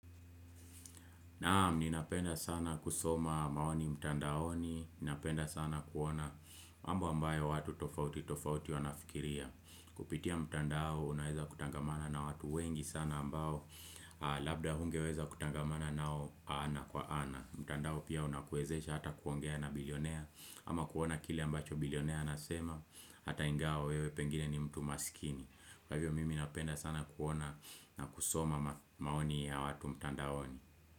Naam, ninapenda sana kusoma maoni mtandaoni, ninapenda sana kuona mambo ambayo watu tofauti tofauti wanafikiria. Kupitia mtandao, unaweza kutangamana na watu wengi sana ambao, labda hungeweza kutangamana nao ana kwa ana. Mtandao pia unakuwezesha hata kuongea na bilionaire, ama kuona kile ambacho bilionaire anasema, hata ingawa wewe pengine ni mtu maskini. Kwa hivyo mimi napenda sana kuona na kusoma maoni ya watu mtandaoni.